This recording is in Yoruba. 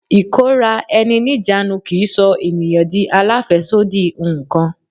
Ikora-eni-nijanu kì í sọ ènìyàn di alafesodi nǹkan.